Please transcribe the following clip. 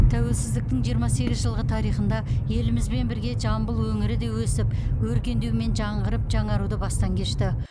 тәуелсіздіктің жиырма сегіз жылғы тарихында елімізбен бірге жамбыл өңірі де өсіп өркендеу мен жаңғырып жаңаруды бастан кешті